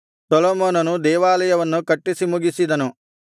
ಸೊಲೊಮೋನನು ದೇವಾಲಯವನ್ನು ಕಟ್ಟಿಸಿ ಮುಗಿಸಿದನು